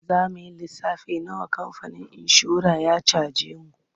Za mu yi lissafin nawa kamfanin inshorar ya caje mu.